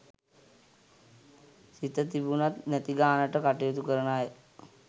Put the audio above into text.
සිත තිබුණත් නැති ගානට කටයුතු කරන අය